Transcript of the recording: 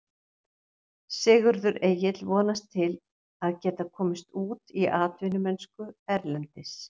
Sigurður Egill vonast til að geta komist út í atvinnumennsku erlendis.